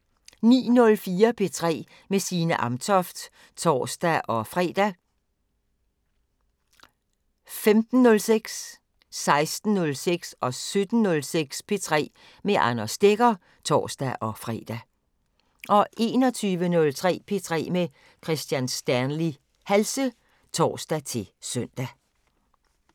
09:04: P3 med Signe Amtoft (tor-fre) 15:06: P3 med Anders Stegger (tor-fre) 16:06: P3 med Anders Stegger (tor-fre) 17:06: P3 med Anders Stegger (tor-fre) 21:03: P3 med Kristian Stanley Halse (tor-søn)